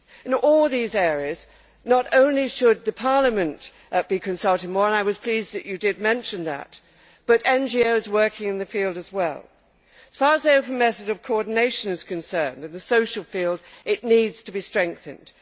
In all these areas, not only should Parliament be consulted more and I was pleased that you did mention that but NGOs working in the field as well. As far as the open method of coordination is concerned in the social field, it needs to be strengthened.